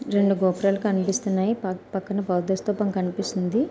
రెండు గోపురాలు కనిపిస్తున్నాయి. పాక్-పక్కన బౌద్ధ స్తూపం కనిపిస్తుంది.